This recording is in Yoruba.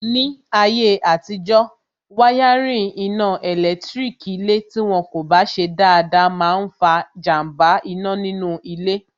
Ní ayé àtijọ́, wáyárìn iná ẹ̀lẹ́tírík ilé tí wọn kò bá ṣe dáadáa máa n fa jàmbá iná nínú ilé